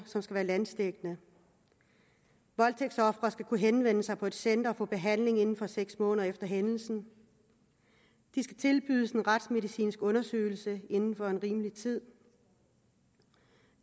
som skal være landsdækkende voldtægtsofre skal kunne henvende sig på et center og få behandling inden for seks måneder efter hændelsen de skal tilbydes en retsmedicinsk undersøgelse inden for en rimelig tid